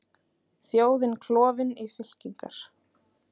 Þjóðin klofin í fylkingar